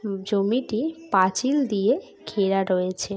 জমিটি পাঁচিল দিয়ে ঘেরা রয়েছে।